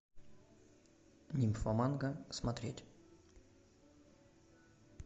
нимфоманка смотреть